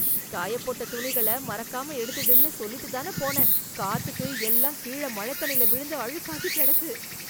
காயப்போட்ட துணிகள மறக்காம எடுத்துடுன்னு சொல்லிட்டுதானே போனேன்... காத்துக்கு எல்லாம் கீழ மழத்தண்ணில விழுந்து, அழுக்காகிக் கெடக்கு.